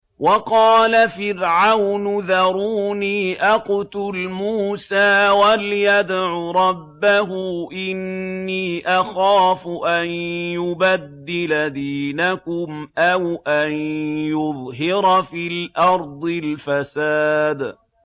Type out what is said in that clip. وَقَالَ فِرْعَوْنُ ذَرُونِي أَقْتُلْ مُوسَىٰ وَلْيَدْعُ رَبَّهُ ۖ إِنِّي أَخَافُ أَن يُبَدِّلَ دِينَكُمْ أَوْ أَن يُظْهِرَ فِي الْأَرْضِ الْفَسَادَ